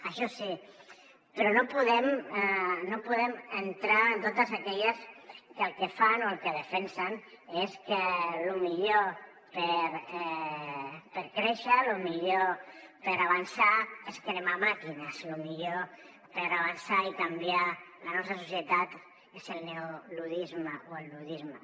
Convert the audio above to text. això sí però no podem entrar en totes aquelles que el que fan o el que defensen és que lo millor per créixer lo millor per avançar és cremar màquines lo millor per avançar i canviar la nostra societat és el neoluddisme o el luddisme